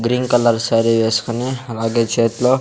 green colour sari వేస్కొని అలాగే చేత్లో --